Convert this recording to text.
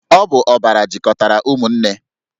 Ọ bụ ọbara jikọtara ụmụnne